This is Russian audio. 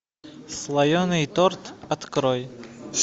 слоеный торт открой